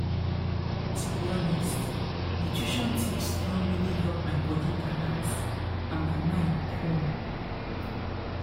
to be honest nutrition tips don really help my body balance and my mind cool